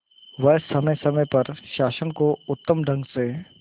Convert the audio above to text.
वह समय समय पर शासन को उत्तम ढंग से